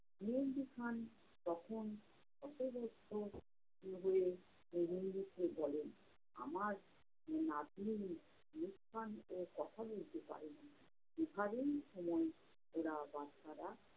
মেহেদি খান তখন অপদস্থ হয়ে বলেন, আমার নাতনী মুসকান ও কথা বলতে পারে না, এভাবেই সময় ওরা বাচ্চারা